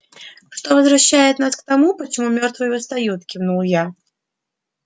что возвращает нас к тому почему мёртвые восстают кивнул я